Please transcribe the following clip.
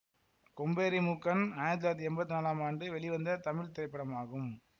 கொம்பேறி மூக்கன் ஆயிரத்தி தொள்ளாயிரத்தி எம்பத்தி நாலாம் ஆண்டு வெளிவந்த தமிழ் திரைப்படமாகும்